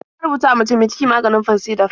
Ba a rubutawa mace mi ciki maganin Fansidar.